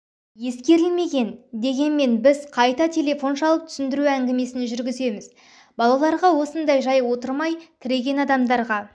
ескерілмеген дегенмен біз қайта телефон шалып түсіндіру әңгімесін жүргіземіз балаларға осында жай отырмай тіреген адамдарға